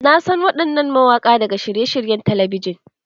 Na san waɗannan mawaƙa daga shirye-shiryen talabijin.